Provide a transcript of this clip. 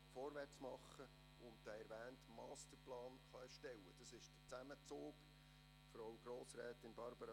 Was will man überhaupt mit dem Frauengefängnis in Hindelbank?